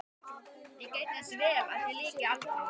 Við gættum þess vel að því lyki aldrei.